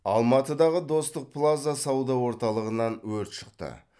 алматыдағы достық плаза сауда орталығынан өрт шықты